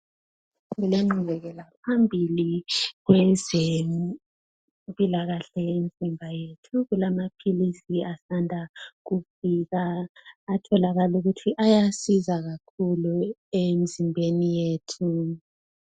Kulengqubekela phambili kwezempilakahle lemzimba yethu. Kulamaphilisi asanda kufika atholakala ukuthi ayasiza kakhulu emzimbeni yethu.